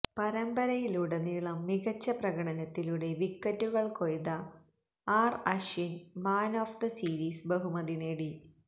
പരമ്പരയിലുടനീളം മികച്ച പ്രകടനത്തിലൂടെ വിക്കറ്റുകൾ കൊയ്ത R Ashwin man of the series ബഹുമതി നേടി